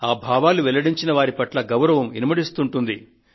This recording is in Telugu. ఆ భావాలు వెల్లడించిన వారి పట్ల గౌరవం ఇనుమడిస్తుంది